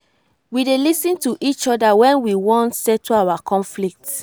we dey lis ten to each oda wen we wan settle our conflict.